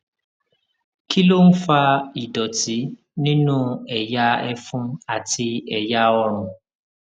kí ló ń fa ìdòtí nínú ẹyà ẹfun àti ẹyà ọrùn